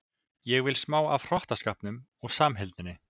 Ég vil smá af hrottaskapnum og samheldninni.